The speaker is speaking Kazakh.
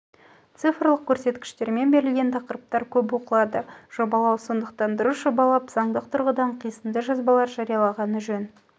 цифрлық көрсеткіштермен берілген тақырыптар көп оқылады жобалау сондықтан дұрыс жобалап заңдық тұрғыдан қисынды жазбалар жарияланғаны жөн